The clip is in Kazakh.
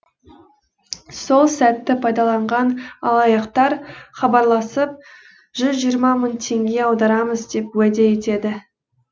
сол сәтті пайдаланған алаяқтар хабарласып жүз жиырма мың теңге аударамыз деп уәде етеді